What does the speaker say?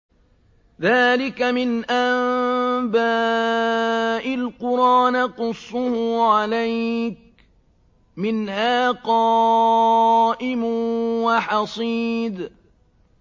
ذَٰلِكَ مِنْ أَنبَاءِ الْقُرَىٰ نَقُصُّهُ عَلَيْكَ ۖ مِنْهَا قَائِمٌ وَحَصِيدٌ